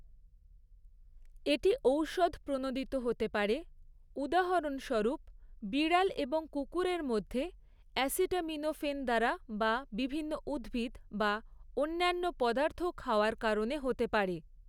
এটি ঔষধ প্রণোদিত হতে পারে, উদাহরণস্বরূপ বিড়াল এবং কুকুরের মধ্যে অ্যাসিটামিনোফেন দ্বারা বা বিভিন্ন উদ্ভিদ বা অন্যান্য পদার্থ খাওয়ার কারণে হতে পারে।